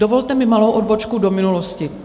Dovolte mi malou odbočku do minulosti.